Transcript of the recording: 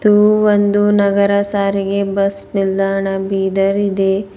ಇದು ಒಂದು ನಗರ ಸಾರಿಗೆ ಬಸ್ ನಿಲ್ದಾಣ ಬೀದರ್ ಇದೆ.